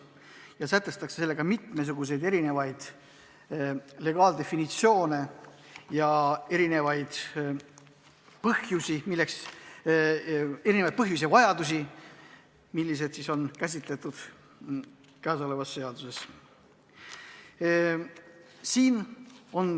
Sellega sätestatakse mitmesuguseid legaaldefinitsioone ja käsitletakse olemasoleva seaduse muutmise põhjusi.